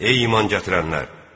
Ey iman gətirənlər!